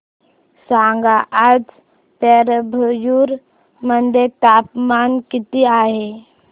सांगा आज पेराम्बलुर मध्ये तापमान किती आहे